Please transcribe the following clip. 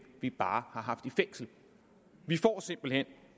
vi bare har haft i fængsel vi får simpelt hen